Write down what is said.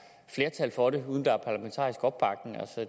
tak for det